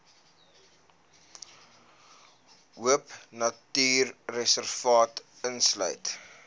de hoopnatuurreservaat insluit